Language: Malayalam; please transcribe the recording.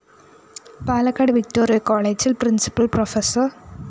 പാലക്കാട് വിക്‌ടോറിയ കോളെജില്‍ പ്രിന്‍സിപ്പല്‍ പ്രോഫ്‌